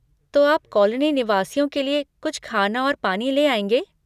तो आप कॉलोनी निवासियों लिए कुछ खाना और पानी ले आएँगे?